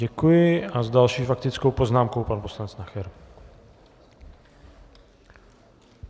Děkuji a s další faktickou poznámkou pan poslanec Nacher.